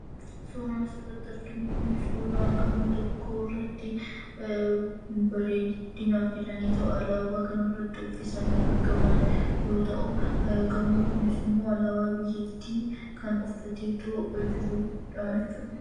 Suuraan asirratti arginu kun suuraa gamoo tokko irratti bareedinaaf jedhaniito alaabaa kanarratti uffisanii argaman yoo ta'u, gamoon kunis immoo alaabaa biyyattii kan uffatee jirudha jechuudha.